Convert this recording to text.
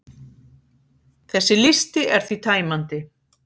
Þessi listi er því tæmandi.